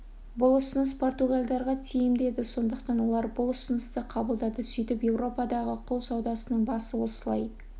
бұл ұсыныс португалдарға тиімді еді сондықтан олар бұл ұсынысты қабылдады сөйтіп еуропадағы құл саудасының басы осылай